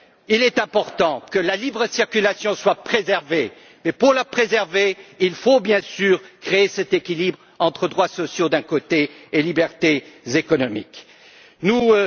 Il est important que la libre circulation soit préservée, et pour la préserver, il faut bien sûr créer cet équilibre entre droits sociaux d'un côté et libertés économiques de l'autre.